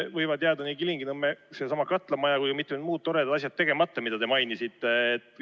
Võivad jääda nii Kilingi-Nõmme katlamaja kui ka mitud muud toredat asjad, mida te mainisite, tegemata.